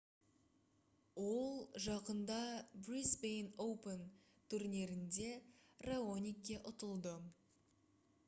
ол жақында brisbane open турнирінде раоникке ұтылды